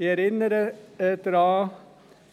Ich erinnere daran,